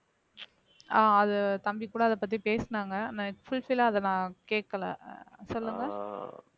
ஆஹ் அது தம்பிகூட அதைப் பத்தி பேசினாங்க நான் fulfill ஆ அத நான் கேக்கலை சொல்லுங்க